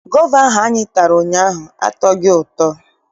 Gova ahụ anyị tara ụnyaahụ atọghị ụtọ.